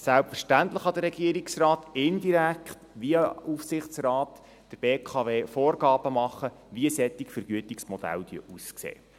Selbstverständlich kann der Regierungsrat indirekt via Aufsichtsrat der BKW Vorgaben machen, wie solche Vergütungsmodelle aussehen.